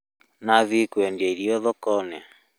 Nĩ athiĩ kũendia irio thoko-inĩ